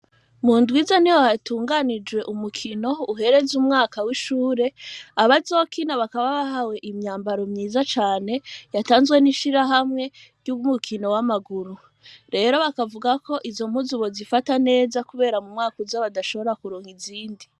Mu ndwiza ni yo hatunganijwe umukino uhereze umwaka w'ishure abazokina bakaba bahawe imyambaro myiza cane yatanzwe n'inshira hamwe ry'umukino w'amaguru rero bakavuga ko izo mpuze ubo zifata neza, kubera mu mwaka uza badashobora kurunka izindi.